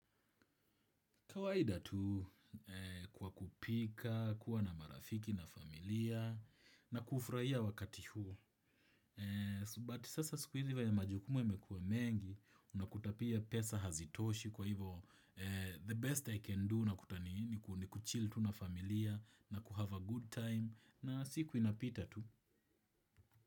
Kawaida tu kwa kupika, kuwa na marafiki na familia, na kufurahia wakati huo. But sasa siku hizi venye majukumu yamekuwa mengi, unakuta pia pesa hazitoshi kwa hivo the best I can do nakuta ni nini, ni kuchil tu na familia, na kuhave a good time, na siku inapita tu.